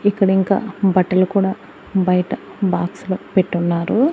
ఇక్కడ ఇంకా బట్టలు కూడా బయట బాక్సులో పెట్టున్నారు.